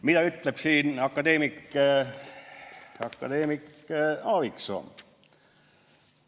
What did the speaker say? Mida ütleb selle kohta akadeemik Aaviksoo?